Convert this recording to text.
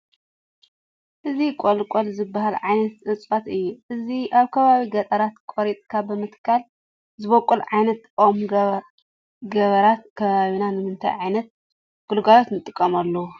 እዚ ቆልቋል ዝበሃል ዓይነት እፅዋት እዩ፡፡ እዚ ኣብ ከባቢ ገጠራት ቆሪፅካ ብምትካል ዝበቑል ግይነት ኦም ገባራት ከባቢና ንምንታይ ዓይነት ግልጋሎት ይጥቀሙሉ?